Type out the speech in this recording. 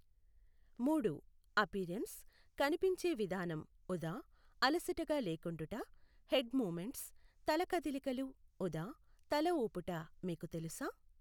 మూడు, అపియరెన్స్, కనిపించే విధానం ఉదా అలసటగా లేకుండుట హెడ్ మూవమెంట్స్, తల కదలికలు ఉదా తలఊపుట మీకు తెలుసా?